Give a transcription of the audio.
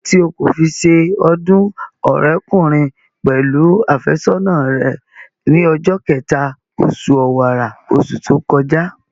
Kíló dé tí o kò fi se ọdún ọ̀rẹ́kùnrin pẹ̀lú àfẹ́sọ́nà rẹ ní ọjọ́ kẹta, osù ọ̀wàrà, osù tó kọjá?